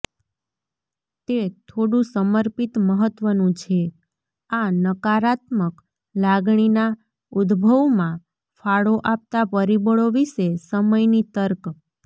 તે થોડું સમર્પિત મહત્વનું છે આ નકારાત્મક લાગણીના ઉદભવમાં ફાળો આપતા પરિબળો વિશે સમયની તર્ક